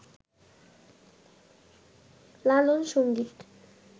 লালন সংগীত